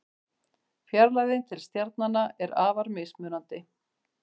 Fjarlægðin til stjarnanna er afar mismunandi.